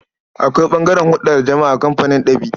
Akwai ɓangaren hulɗa da jama'a a kamfanin ɗab'i.